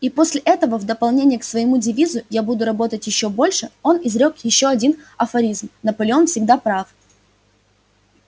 и после этого в дополнение к своему девизу я буду работать ещё больше он изрёк ещё один афоризм наполеон всегда прав